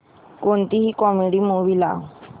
कोणतीही comedy movie लाव